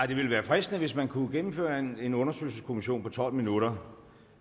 det ville være fristende hvis man kunne gennemføre en en undersøgelseskommission på tolv minutter